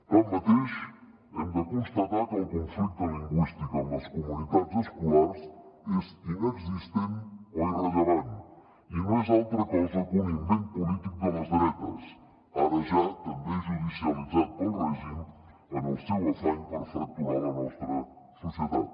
tanmateix hem de constatar que el conflicte lingüístic en les comunitats escolars és inexistent o irrellevant i no és altra cosa que un invent polític de les dretes ara ja també judicialitzat pel règim en el seu afany per fracturar la nostra societat